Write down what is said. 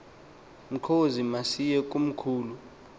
mkhozi masiye komkhulu